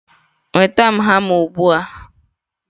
nweta m hama ugbu a!